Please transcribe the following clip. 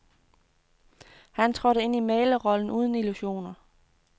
Han trådte ind i mæglerrollen uden illusioner.